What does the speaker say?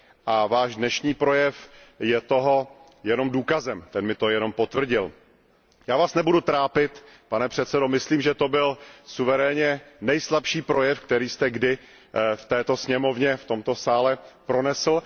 A váš dnešní projev je toho jenom důkazem, ten mi to jenom potvrdil. Já vás nebudu trápit, pane předsedo, myslím, že to byl suverénně nejslabší projev, který jste kdy v této sněmovně, v tomto sále pronesl.